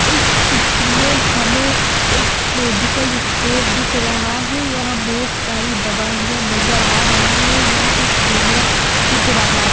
इस चित्र में हमें एक मेडिकल स्टोर दिख रहा है यहाँ बहुत सारी दवाइयां नजर आ रही हैं यहाँ एक कैमरा दिख रहा--